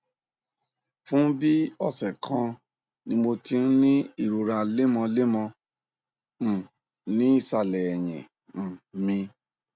fún bí ọsẹ kan ni mo ti ń ní ìrora lemọlemọ um ní ìsàlẹ èyìn um mi